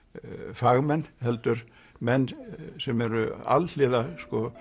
fagmenn heldur menn sem eru alhliða